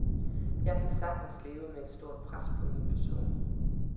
Jeg kan sagtens leve med et stort pres på min person.